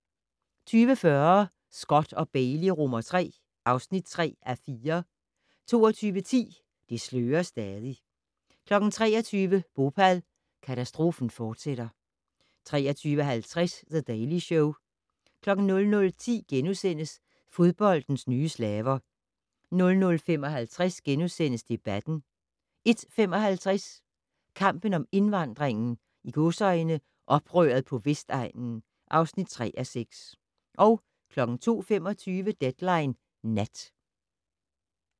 20:40: Scott & Bailey III (3:4) 22:10: Det slører stadig 23:00: Bhopal - katastrofen fortsætter 23:50: The Daily Show 00:10: Fodboldens nye slaver * 00:55: Debatten * 01:55: Kampen om indvandringen - "oprøret på Vestegnen" (3:6) 02:25: Deadline Nat